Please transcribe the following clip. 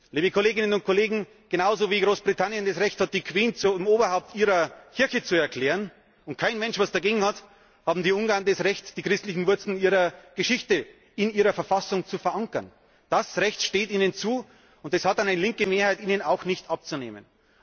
Liebe Kolleginnen und Kollegen, genauso wie Großbritannien das Recht hat, die Queen zum Oberhaupt ihrer Kirche zu erklären, wobei kein Mensch etwas dagegen hat, haben die Ungarn das Recht, die christlichen Wurzeln ihrer Geschichte in ihrer Verfassung zu verankern. Dieses Recht steht ihnen zu, und das hat eine linke Mehrheit ihnen auch nicht abzunehmen.